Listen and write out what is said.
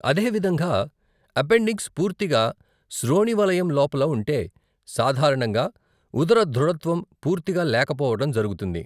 అదేవిధంగా, అపెండిక్స్ పూర్తిగా శ్రోణివలయం లోపల ఉంటే, సాధారణంగా ఉదర దృఢత్వం పూర్తిగా లేకపోవడం జరుగుతుంది.